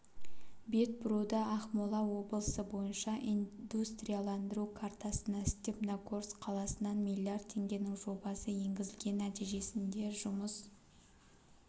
бет бұруда ақмола облысы бойынша индустрияландыру картасына степногорск қаласынан миллиард теңгенің жобасы енгізілген нәтижесінде жұмыс